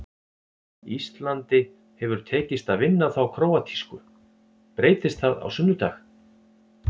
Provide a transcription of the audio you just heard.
Íslandi hefur tekist að vinna þá króatísku, breytist það á sunnudag?